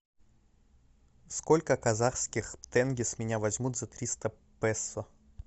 сколько казахских тенге с меня возьмут за триста песо